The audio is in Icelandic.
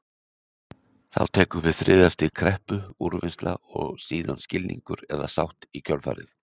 Þá tekur við þriðja stig kreppu, úrvinnsla og síðan skilningur eða sátt í kjölfarið.